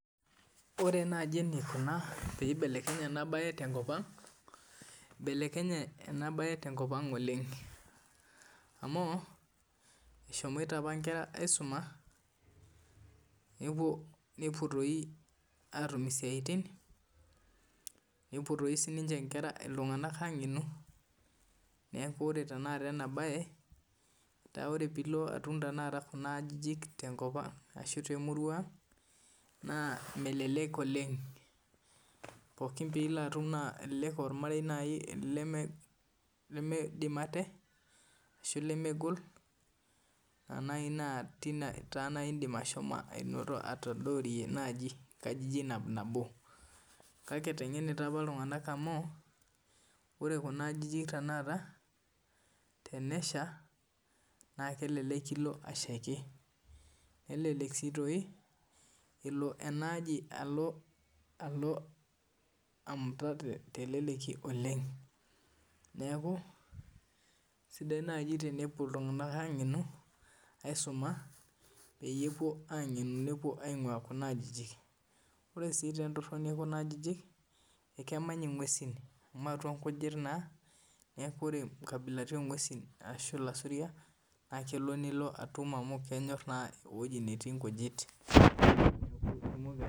Ore naaji enikuna pee eibelekenye ena mbae tenkop ang oleng amu eshomoite ala Nkera aisuma nepuo doi atum esiatin nepuo sininche iltung'ana ang'enu neeku tenilo tanakata atum Kuna ajijik tenkop ashu temurua ang naa nelelek oleng pookin pilo atum naa ormarei limidim ate ashu lemegol tine naaji edim ashomo atadorie nkajijik nabonabo kake etengenita apa iltung'ana amu ore Kuna ajijik tanakata tenesha naa kelek kilo ashaiki nelelek si elo enaaji alo amuta teleleki oleng neeku sidai naaji tenepuo iltung'ana ang'enu aisuma peeyie epuo ang'enu nepuo aingua Kuna ajijik ore sii entorini ekuna ajijik ekemany eng'uesi amu atua ngijit naa neeku ore nkabilaritin oo ng'uesi ashu lasuria naa kelelek elo atuma mu kenyor naa ewueji netii nkujit